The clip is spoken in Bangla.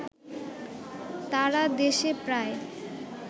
তারা দেশে প্রায়